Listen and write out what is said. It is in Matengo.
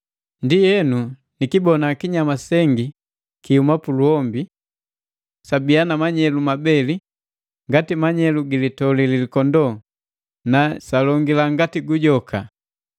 Ndienu, nikibona kinyama sengi kihuma puluhombi. Jabiya na manyelu mabeli ngati manyelu gi litoli lilikondoo, na jalongila ngati gujoka.